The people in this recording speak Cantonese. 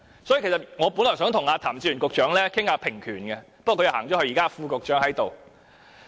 所以，其實我本來想與譚志源局長討論平權，不過他離開了會議廳，只有副局長在席。